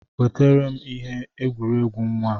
Wetara m ihe egwuregwu nwa a!